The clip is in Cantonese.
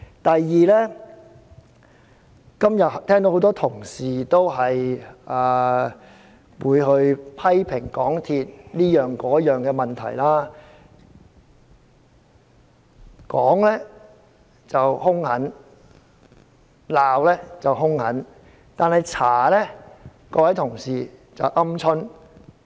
第二，今天聽到很多同事批評香港鐵路有限公司各方面的問題，批評時兇狠，但調查時卻表現"鵪鶉"。